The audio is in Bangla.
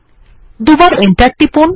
দুবার এন্টার টিপুন